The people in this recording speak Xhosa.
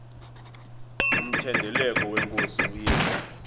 umthendeleko wenkosi uyesu